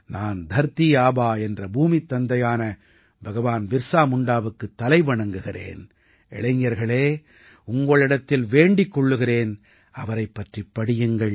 நான் தர்தீ ஆபா என்ற பூமித் தந்தையான பகவான் பிர்ஸா முண்டாவுக்குத் தலை வணங்குகிறேன் இளைஞர்களே உங்களிடத்தில் வேண்டிக் கொள்கிறேன் அவரைப் பற்றிப் படியுங்கள்